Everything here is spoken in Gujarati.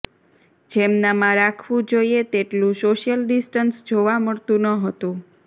જેમનામાં રાખવું જોઇએ તેટલું સોશિયલ ડીસ્ટન્સ જોવા મળતું ન હતું